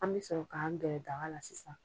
An mi sɔrɔ k'an gɛrɛ daga la sisan.